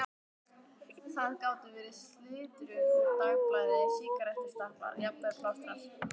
Það gátu verið slitrur úr dagblaði, sígarettustubbar, jafnvel plástrar.